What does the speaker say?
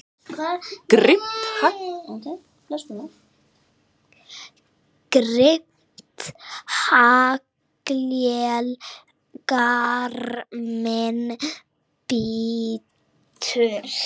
Grimmt haglél garminn bítur.